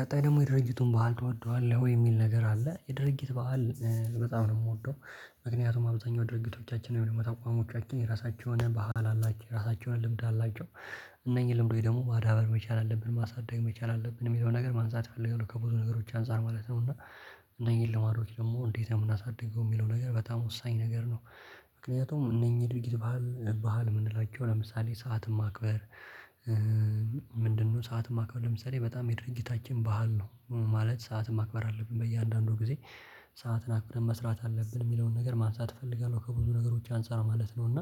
ቀጣይ ደግሞ የድርጅቱን በዓል ትወደዋለህ ወይ የሚል ነገር አለ? የድርጊት በዓል በጣም ነው የምወደው። ምክንያቱም አብዛኛው ድርጊቶቻችን ወይም አቋሞቻችን የራሳቸው የሆነ ባህል አላቸው የራሳቸው የሆነ ልምድ አላቸው። እነኚህ ልምዶች ደግሞ ማዳበር መቻል አለብን ማሳደግ መቻል አለብን የሚለው ነገር ማንሳት አለብኝ ያሉት ከብዙ ነገሮች አንፃር ማለት ነው። እና እነኚህን ለማድረግ ደግሞ እንዴት ነው የምናሳድገው የሚለው ነገር በጣም ወሳኝ ነገር ነው። ምክንያቱም እነኚህ ድርጊት ባህል ምንላቸው ለምሳሌ ሰዓትን ማክበር። ሰዓት ማክበር ለምሳሌ በጣም የድርጅታችን ባህል ነው ማለት ሰዓትን ማክበር አለብን በእያንዳንዱ ጊዜ። ሰዓትን አክብረን መስራት አለብን የሚለውን ነገር ማንሳት እፈልጋለሁ ከብዙ ነገሮች አንፃር ማለት ነው። እና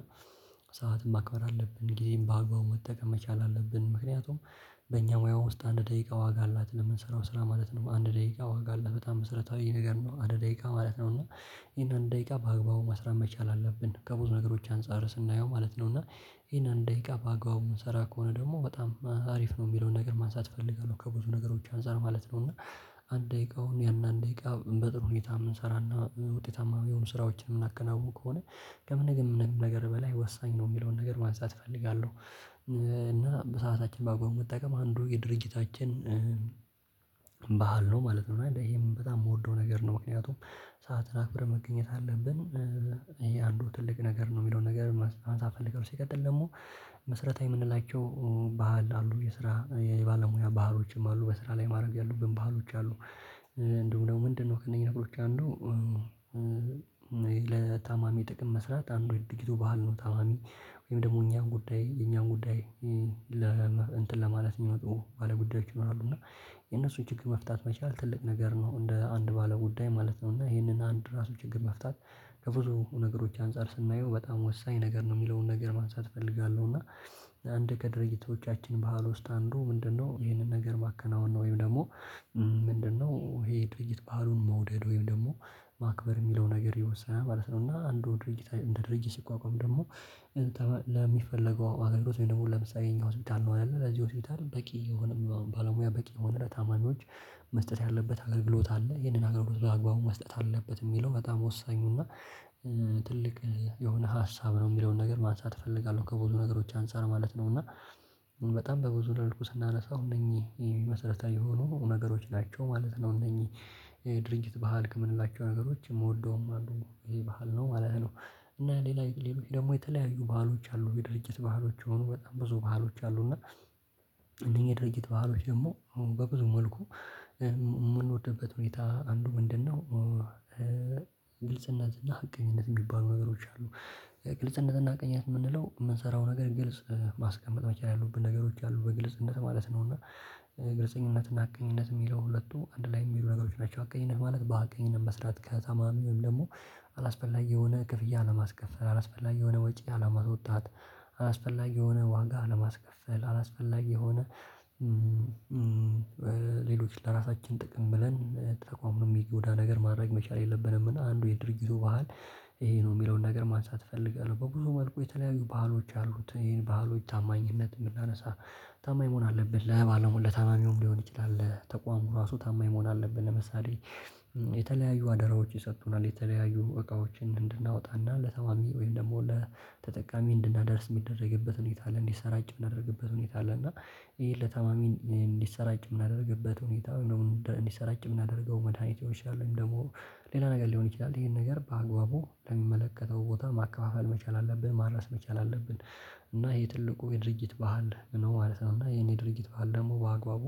ሰዓትም ማክበር አለብን ጊዜም በአግባቡ መጠቀም መቻል አለብን። ምክንያቱም በእኛ ሙያው ውስጥ አንድ ደቂቃ ዋጋ አላት ለምንሰራው ስራ ማለት ነው። አንድ ደቂቃ ዋጋ አላት በጣም መሰረታዊ ነገር ነው። አንድ ደቂቃ ማለት ነው እና ይሄንን ደቂቃ በአግባቡ መስራት መቻል አለብን ከብዙ ነገሮች አንፃር ስናየው ማለት ነው። እና ይሄን አንድ ደቂቃ በአግባቡ ምንሰራ ከሆነ ደግሞ በጣም ሀሪፍ ነው። የሚለውን ነገር ማንሳት እፈልጋለሁ ከብዙ ነገሮች አንፃር ማለት ነው። እና አንድ ደቂቃውን ያን አንድ ደቂቃ በጥሩ ሁኔታ የምንሰራና ውጤታማ የሆኑ ስራዎችን የምናከናውኑ ከሆነ ከምንም ነገር በላይ ወሳኝ ነው የሚለውን ነገር ማንሳት እፈልጋለሁ። እና በሰአታችን በአግባቡ መጠቀም አንዱ የድርጅታችን ነው ማለት ነው። እና ይሄ ምን በጣም የምወደው ነገር ነው። ምክንያቱም ሰዓትን አክብረ መገኘት አለብን። ይሄ አንዱ ትልቅ ነገር ነው። የሚለውን ነገር ማንሳት ምፈልገው ሲቀጥል ደግሞ። መሰረታዊ የምንላቸው ባህል አሉ የስራ የባለሙያ ባህሎችም አሉ በስራ ላይ ማድረግ ያሉብን ባህሎች አሉ። እንደውም ደግሞ ምንድነው ከነኚህ ነገሮች አሉ? ለታማሚ ጥቅም መስራት አንዱ ድርጊቱ ባህል ነው። ታማሚ ወይም ደግሞ እኛን ጉዳይ የእኛን ጉዳይ። እንትን ለማለት የሚወጡ ባለጉዳዮች ይኖራሉ። እና የነሱ ጭክ መፍታት መቻል ትልቅ ነገር ነው። እንደ አንድ ባለ ጉዳይ ማለት ነው። እና ይሄንን አንድ ራሱ ችግር መፍታት ከብዙ ነገሮች አንፃር ስናየው በጣም ወሳኝ ነገር ነው። የሚለውን ነገር ማንሳት እፈልጋለሁ። እና አንድ ከድርጅቶቻችን ባህል ውስጥ አንዱ ምንድነው ይሄንን ነገር ማከናወን ነው። ወይም ደግሞ ምንድነው ይሄ ድርጅት ባህሉን መውደድ ወይም ደግሞ ማክበር የሚለው ነገር ይወሳል ማለት ነው። እና አንዱ ድርጊት እንደ ድርጅት ሲቋቋም ደግሞ። ለሚፈለገው አገልግሎት ወይ ደግሞ ለምሳሌ ይሄኛው ሆስፒታል እንሆናለን ለዚህ ሆስፒታል በቂ የሆነ ባለሙያ በቂ የሆነ ታማሚዎች መስጠት ያለበት አገልግሎት አለ። ይሄንን አገልግሎት በአግባቡ መስጠት አለበት። የሚለው በጣም ወሳኙና ትልቅ የሆነ ሀሳብ ነው የሚለውን ነገር ማንሳት እፈልጋለሁ። ከብዙ ነገሮች አንፃር ማለት ነው። እና በጣም በብዙ መልኩ ስናነሳው እነኚህ መሰረታዊ የሆኑ ነገሮች ናቸው ማለት ነው እነዚህ ድርጅት ባህል የምንላቸው ነገሮች የምወደውም አንዱ ይሄ ባህል ነው ማለት ነው። እና ሌላ ሌሎች ደግሞ የተለያዩ ባህሎች አሉ የድርጅት ባህሎች የሆኑ በጣም ብዙ ባህሎች አሉና። እነዚህ የድርጅት ባህሎች ደግሞ በብዙ መልኩ የምንወድበት ሁኔታ አንዱ ምንድነው? ግልጽነት እና ሀቀኝነት የሚባሉ ነገሮች አሉ። ግልጽነት እና ሀቀቅኝት የምንለው የምንሰራው ነገር ግልጽ ማስቀመጥ መቻል ያለቡን ነገሮች አሉ። በግልጽነት ማለት ነው። እና ግልጽኝነት ሀቀኝነት የሚለው ሁለቱ አንድ ላይ የሚሄዱ ነገሮች ናቸው። ሀቀኝነት ማለት በሀቀኝነት መስራት ከተማሚው ወይም ደግሞ አላስፈላጊ የሆነ ክፍያ አለማስከፈል አላስፈላጊ የሆነ ወጪ አለማስወጣት አላስፈላጊ የሆነ ዋጋ አለማስከፈል አላስፈላጊ የሆነ ሌሎች ለራሳችን ጥቅም ብለን ተቋምን የሚጎዳ ነገር ማድረግ መቻል የለብንም። እና አንዱ የድርጅቱ ባህል ይሄ ነው የሚለውን ነገር ማንሳት እፈልጋለሁ። በብዙ መልኩ የተለያዩ ባህሎች አሉት። ይሄን ባህሎች ታማኝነት የምናነሳ ታማኝ መሆን አለብን። ለታማሚውም ሊሆን ይችላል ለተቋሙ እራሱ ታማኝ መሆን አለብን። ለምሳሌ የተለያዩ አደራዎች ይሰጡናል የተለያዩ እቃዎችን እንድናወጣና ለታማሚ ወይም ደግሞ ለተጠቃሚ እንድናደርስ የሚደረግበትን ሁኔታ አለ። እንዲሰራጭ የምናደርግበት ሁኔታ አለ። እና ይሄን ለታማሚ እንዲሰራጭ የምናደርግበት ሁኔታ እንዲሰራጭ የምናደርገው መድኃኒቶች አሉ። ደግሞ ሌላ ነገር ሊሆን ይችላል ይሄን ነገር በአግባቡ ለሚመለከተው ቦታ ማከፋፈል መቻል አለብን ማድረስ መቻል አለብን። እና ይሄ ትልቁ የድርጅት ባህል ነው ማለት ነው። እና እሄን የድርጅት ባህል ደግሞ በአግባቡ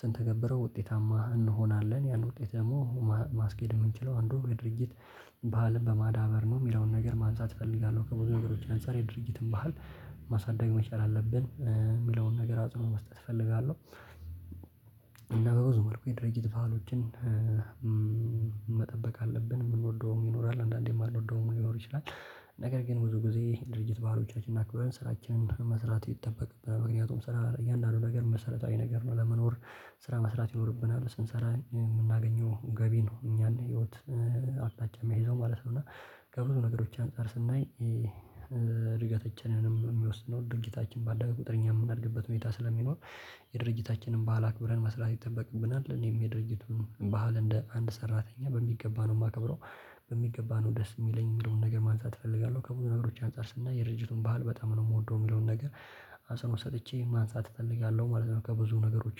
ስንተ ውጤታማ እንሆናለን ያን ውጤት ደግሞ ማስኬድ የምንችለው አንዱ የድርጅት ባህልም በማዳበር ነው። የሚለውን ነገር ማንሳት እፈልጋለሁ። ከብዙ ነገሮች አንፃር የድርጅትን ባህል ማሳደግ መቻል አለብን የሚለውን ነገር አጽንኦ መስጠት እፈልጋለሁ። እና በብዙ መልኩ የድርጅት ባህሎችን መጠበቅ አለብን። የምንወደውም ይኖራል አንዳንዴ የማንወደውም ሊኖር ይችላል። ነገር ግን ብዙ ጊዜ ድርጅት ባህሎቻችን አክብረን ስራችንን መስራት ይጠበቅብናል። ምክንያቱም ስራ ለእያንዳንዱ ነገር መሰረታዊ ነገር ነው። ለመኖር ስራ መስራት ይኖርብናል። ስንሰራ የምናገኘው ገቢ ነው እኛን ህይወት አቅጣጫ የሚያሲዘው ማለት ነው። እና ከብዙ ነገሮች አንፃር ስናይ እድገታችንን የሚወስነው ድርጅታችን ባለው ቁጥር እኛ የምናድግበት ሁኔታ ስለሚኖር የድርጅታችንን ባህል አክብረን መስራት ይጠበቅብናል። እኔም የድርጅቱን ባህል እንደ አንድ ሰራተኛ በሚገባ ነው የማከብረው። በሚገባ ነው ደስ የሚለኝ የሚለውን ነገር ማንሳት እፈልጋለሁ። ከብዙ ነገሮች አንፃር ስናይ የድርጅቱ ባህል በጣም ነው የምወደው የሚለውን ነገር። ሃሳቡን ሰጥቼ ማንሳት እፈልጋለሁ ማለት ነው። ከብዙ ነገሮች